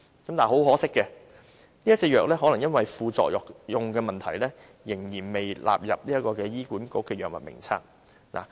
但是，很可惜，可能由於副作用的問題，這種藥仍然未納入醫管局的《藥物名冊》。